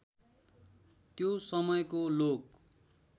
त्यो समयको लोक